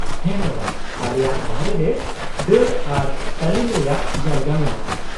-ᱦᱮᱸ ᱢᱮᱰᱟᱢ, ᱟᱞᱮᱭᱟᱜ ᱵᱟᱨᱦᱮ ᱨᱮ ᱫᱟᱹᱲ ᱟᱨ ᱛᱟᱹᱞᱤᱢ ᱨᱮᱭᱟᱜ ᱡᱟᱭᱜᱟ ᱢᱮᱱᱟᱜᱼᱟ ᱾